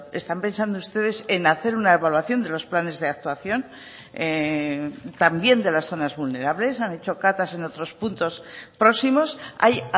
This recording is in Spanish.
están pensando ustedes en hacer una evaluación de los planes de actuación también de las zonas vulnerables han hecho catas en otros puntos próximos hay